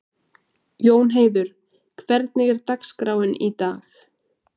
Jónheiður, hvernig er dagskráin í dag?